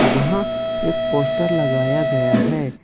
जहां एक पोस्टर लगाया गया है।